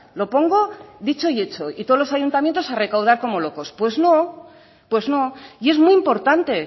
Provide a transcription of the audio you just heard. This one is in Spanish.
lo pongo dicho y hecho y todos los ayuntamientos a recaudar como locos pues no pues no y es muy importante